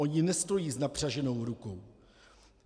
Oni nestojí s napřaženou rukou.